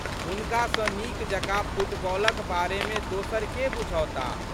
हुनका सँ नीक जकाँ फुटबॉलक बारे मे दोसर के बुझौताह?